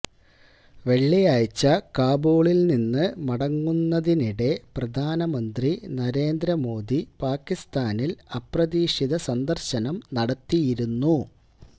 വെള്ളിയാഴ്ച കാബൂളിൽനിന്ന് മടങ്ങുന്നതിനിടെ പ്രധാനമന്ത്രി നരേന്ദ്ര മോദി പാക്കിസ്ഥാനിൽ അപ്രതീക്ഷിത സന്ദർശനം നടത്തിയിരുന്നു